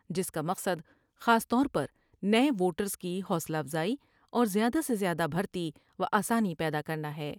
جس کا مقصد خاص طور پر نئے ووٹریس کی حوصلہ افزائی اور زیادہ سے زیادہ بھرتی و آسانی پیدا کرنا ہے ۔